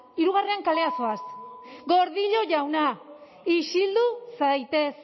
hirugarrean kalera zoaz gordillo jauna isildu zaitez